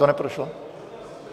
To neprošlo?